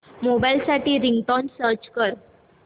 mobile साठी ringtone search कर